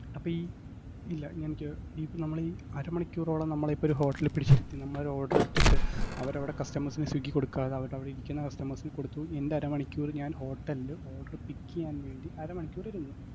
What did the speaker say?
അപ്പ ഈ, ഇല്ല, എനിക്ക് ഇ~ നമ്മളെ ഈ അരമണിക്കൂറോളം നമ്മളെ ഇപ്പൊ ഒരു hotel ല് പിടിച്ചിരുത്തി നമ്മളൊരു order എടുത്തിട്ട് അവരവിടെ customers ന് സ്വിഗ്ഗി കൊടുക്കാതെ അവര്ട അവിടെ ഇരിക്കുന്ന customers ന് കൊടുത്തു, എന്റെ അരമണിക്കൂർ ഞാൻ hotel ല് order pick എയ്യാൻവേണ്ടി അരമണിക്കൂർ ഇരുന്നു.